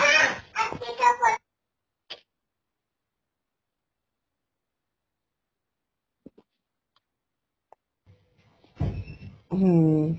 ਹਮ